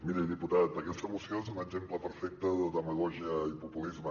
miri diputat aquesta moció és un exemple perfecte de demagògia i populisme